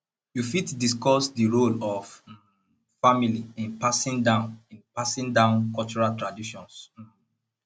you fit discuss di role of um family in passing down in passing down cultural traditions um